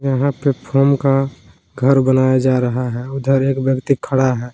यहां पे फोम का घर बनाया जा रहा है उधर एक व्यक्ति खड़ा है।